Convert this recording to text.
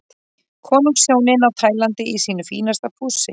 Konungshjónin á Tælandi í sínu fínasta pússi.